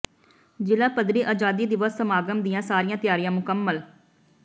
ਜ਼ਿਲ੍ਹਾ ਪੱਧਰੀ ਆਜ਼ਾਦੀ ਦਿਵਸ ਸਮਾਗਮ ਦੀਆਂ ਸਾਰੀਆਂ ਤਿਆਰੀਆਂ ਮੁਕੰਮਲ